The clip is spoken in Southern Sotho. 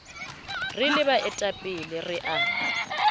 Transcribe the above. re le baetapele re a